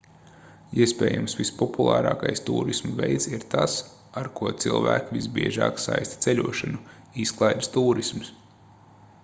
iespējams vispopulārākais tūrisma veids ir tas ar ko cilvēki visbiežāk saista ceļošanu - izklaides tūrisms